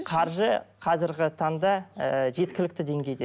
қаржы қазіргі таңда ы жеткілікте деңгейде